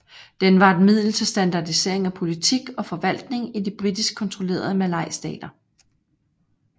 Den var et middel til standardisering af politik og forvaltning i de britisk kontrollerede malaystater